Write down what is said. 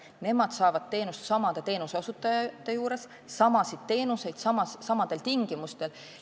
Nemad saavad sama teenust sama teenuseosutaja juures samadel tingimustel edasi.